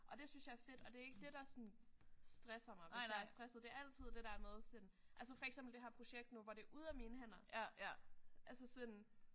Og det synes jeg er fedt og det er ikke det der sådan stresser mig hvis jeg er stresset. Det er altid det der med sådan. Altså for eksempel det her projekt nu hvor det er ude af mine hænder altså sådan